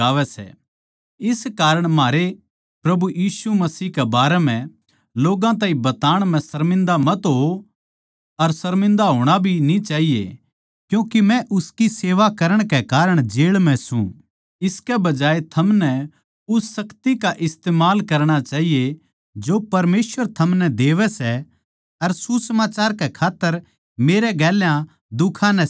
इस करण म्हारै प्रभु यीशु मसीह के बारें म्ह लोग्गां ताहीं बताण म्ह शर्मिन्दा मत होओ अर शर्मिन्दा होणा भी न्ही चाहिए क्यूँके मै उसकी सेवा करण कै कारण जेळ म्ह सूं इसके बजाये थारे ताहीं उस शक्ति का इस्तमाल करणा चाहिए जो परमेसवर थारे ताहीं देवै सै अर सुसमाचार कै खात्तर मेरै गेल्या दुखां नै सह ल्यो